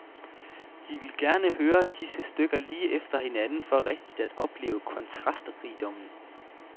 De ville gerne høre disse stykker lige efter hinanden for rigtig at opleve kontrastrigdommen.